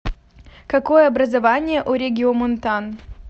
какое образование у региомонтан